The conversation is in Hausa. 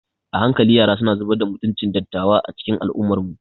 A hankali yara suna zubar da mutuncin dattawa a cikin al'ummarmu.